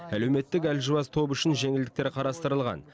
әлеуметтік әлжуаз топ үшін жеңілдіктер қарастырылған